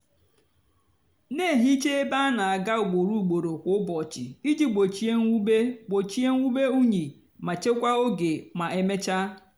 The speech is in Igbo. na-ehicha ebe áná-ágá ugboro ugboro kwa ụbọchị iji gbochie mwube gbochie mwube unyi ma chekwaa oge ma emechaa.